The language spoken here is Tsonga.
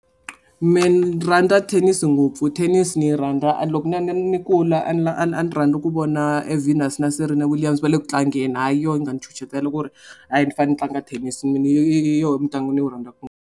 Me ni rhandza thenisi ngopfu thenisi ni yi rhandza and loko ni ni ni kula ni ni kula a ni a ni rhandza ku vona Venus na Serena Williams va le ku tlangeni ha yona yi nga ni ku ri a hi ni fane ni tlanga thenisi mutlangi ni wu rhandzaka .